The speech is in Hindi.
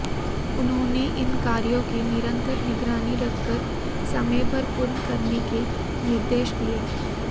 उन्होंने इन कार्यों की निरन्तर निगरानी रखकर समय पर पूर्ण कराने के निर्देश दिये